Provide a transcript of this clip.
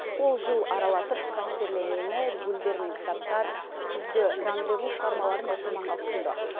ол жыл аралатып қастерле мені гүлдер мен кітаптар күзгі рандеву шығармаларын оқырманға ұсынды